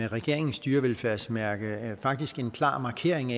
regeringens dyrevelfærdsmærke faktisk en klar markering